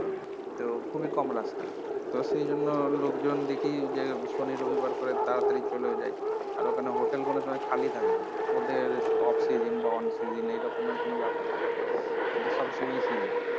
তো খুবই কম রাস্তা তো সেইজন্য লোকজন দেখি যে সনি রবিবার করে তাড়াতাড়ি চলেও যায় আর ওখানে hotel কোনো সময়ে খালি থাকে না ওদের off season বা on season এরকমের কোনো ব্যাপার থাকে না ওদের সবসময় season